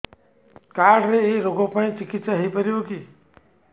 card ରେ ଏଇ ରୋଗ ପାଇଁ ଚିକିତ୍ସା ହେଇପାରିବ କି